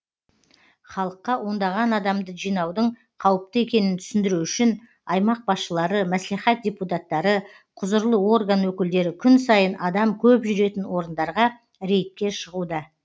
халыққа ондаған адамды жинаудың қауіпті екенін түсіндіру үшін аймақ басшылары мәслихат депутаттары құзырлы орган өкілдері күн сайын адам көп жүретін орындарға рейдке шығуда